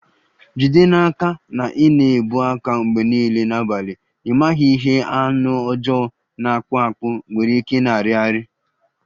Jide n'aka na ị na-ebu aka mgbe niile n'abalị, ị maghị ihe anụ ọjọọ na-akpụ akpụ nwere ike ịna-arị arị